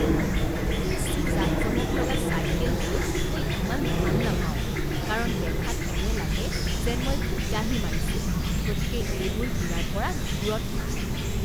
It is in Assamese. বেছি জাকজমক লগা চাইকেলবোৰ মই ইমান ভাল নাপাওঁ কাৰণ দেখাত এনে লাগে যেন মই ফিতাহি মাৰিছোঁ গতিকে এইবোৰ কিনাৰ পৰা দূৰত থাকোঁ।